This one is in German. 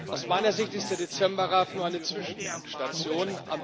Aus meiner Sicht ist der Dezember Rat nur eine Zwischenstation.